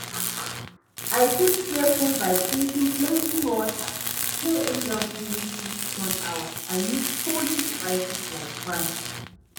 I fit stay cool by drinking plenty water, stay indoors during peak sun hours and use cooling device like fan.